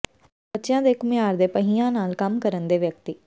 ਬੱਚਿਆਂ ਦੇ ਘੁਮਿਆਰ ਦੇ ਪਹੀਆਂ ਨਾਲ ਕੰਮ ਕਰਨ ਦੇ ਵਿਅਕਤੀ